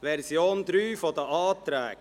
Es handelt sich um die Version 3 der Anträge.